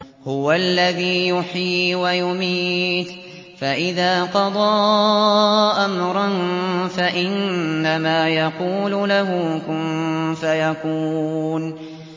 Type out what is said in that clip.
هُوَ الَّذِي يُحْيِي وَيُمِيتُ ۖ فَإِذَا قَضَىٰ أَمْرًا فَإِنَّمَا يَقُولُ لَهُ كُن فَيَكُونُ